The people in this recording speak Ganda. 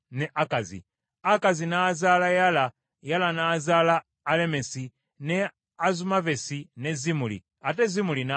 Akazi n’azaala Yala, Yala n’azaala Alemesi, ne Azumavesi ne Zimuli, ate Zimuli n’azaala Moza.